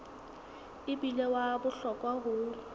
e bile wa bohlokwa ho